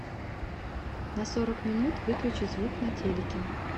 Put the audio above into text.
на сорок минут выключи звук на телике